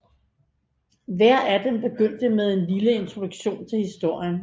Hver af dem begyndte med en lille introduktion til historien